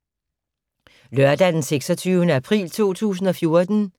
Lørdag d. 26. april 2014